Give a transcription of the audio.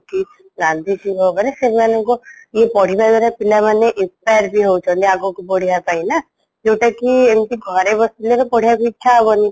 କି ଗାନ୍ଧିଜୀଙ୍କ ଉପରେ ସେମାନଙ୍କୁ ଇଏ ପଢିବା ଦ୍ଵାରା ପିଲାମାନେ inspire ବି ହଉଛନ୍ତି ଆଗକୁ ବଢିବା ପାଇଁ ନା ଯୋଉଁଟାକି ଏମିତି ଘରେ ବସିଲେ ତ ପଢିବାକୁ ଇଛା ହବନି